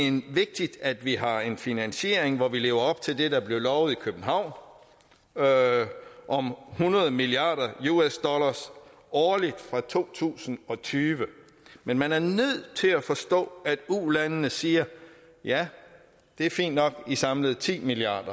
vigtigt at vi har en finansiering hvor vi lever op til det der blev lovet i københavn om hundrede milliard us dollars årligt fra to tusind og tyve men man er nødt til at forstå at ulandene siger ja det er fint nok at i samlede ti milliard